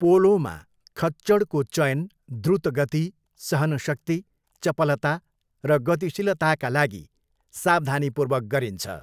पोलोमा खच्चडको चयन द्रुत गति, सहनशक्ति, चपलता, र गतिशीलताका लागि सावधानीपूर्वक गरिन्छ।